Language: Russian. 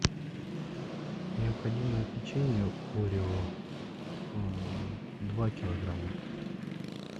необходимо печенье орео два килограмма